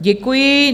Děkuji.